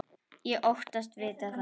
Ég þóttist vita það.